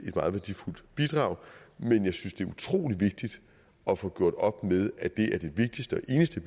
et meget værdifuldt bidrag men jeg synes at det er utrolig vigtigt at få gjort op med at det er det vigtigste og eneste